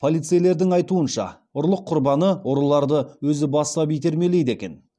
полицейлердің айтуынша ұрлық құрбаны ұрыларды өзі бастап итермелейді екен